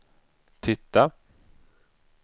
titta